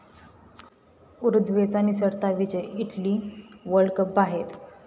उरुग्वेचा निसटता विजय, Italy world cup बाहेर